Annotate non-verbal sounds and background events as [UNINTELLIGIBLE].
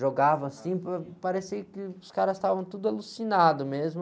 Jogava assim, [UNINTELLIGIBLE] parecia que os caras estavam todos alucinados mesmo.